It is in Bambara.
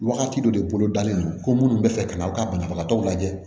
Wagati dɔ de bolo dalen don ko munnu bɛ fɛ ka na u ka banabagatɔw lajɛ